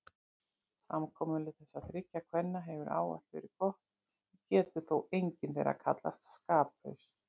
Samkomulag þessara þriggja kvenna hefur ávallt verið gott og getur þó engin þeirra kallast skaplaus.